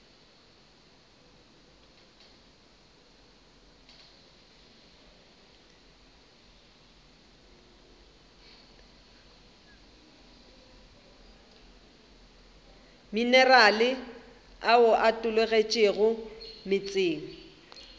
minerale ao a tologetšego meetseng